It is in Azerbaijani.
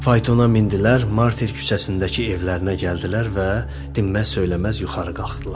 Faytona mindilər, Marter küçəsindəki evlərinə gəldilər və dinməz-söyləməz yuxarı qalxdılar.